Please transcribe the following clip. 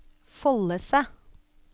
Follese